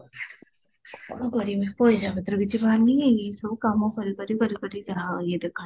କଁ କରିବପଇସା ପତ୍ର କିଛି ଏସବୁ କାମ କରି କରି କରି କରି ଯାହା ୟେ ଦେଖା